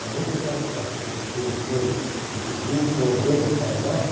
Somente aquelas pessoas que conhecemos e que criam problemas para nós